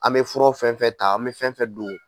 An bɛ fura fɛn fɛn ta an bɛ fɛn fɛn don